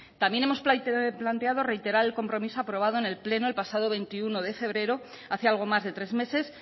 también hemos planteado reiterar el compromiso aprobado en el pleno el pasado veintiuno de febrero hace algo más de tres meses